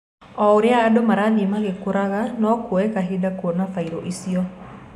O ũria andũ marathie magĩkũraga, no kuoye kahinda kuona bairũ icio.